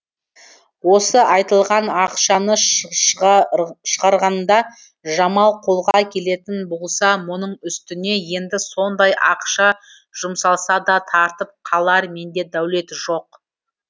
осы айтылған ақшаны шығарғанда жамал қолға келетін болса мұның үстіне енді сондай ақша жұмсалсада тартып қалар менде дәулет жоқ